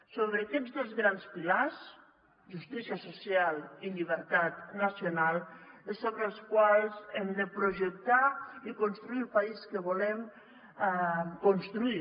sobre aquests dos grans pilars justícia social i llibertat nacional és sobre els quals hem de projectar i construir el país que volem construir